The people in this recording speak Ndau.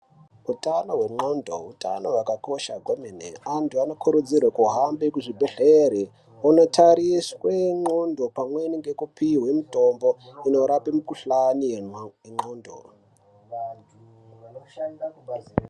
Utano hwendxondo hutano hwakakosha kwemene. Antu anokurudzirwe kuhambe kuzvibhehlera ondotariswe ndxondo pamweni ngekupihwe mitombo inorape mikhuhlane yendxondo.